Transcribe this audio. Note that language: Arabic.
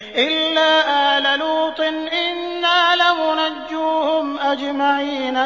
إِلَّا آلَ لُوطٍ إِنَّا لَمُنَجُّوهُمْ أَجْمَعِينَ